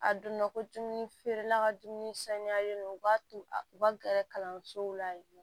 A donna ko dumuni feerela ka dumuni saniyalen don u b'a to a ka gɛrɛ kalansow la yen nɔ